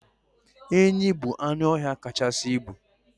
Enyi bụ anụọhịa kachasị ibu